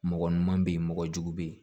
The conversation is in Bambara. Mɔgɔ ɲuman bɛ yen mɔgɔjugu bɛ yen